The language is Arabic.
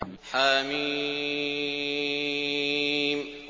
حم